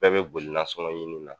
Bɛɛ be boli nasɔngɔn ɲini na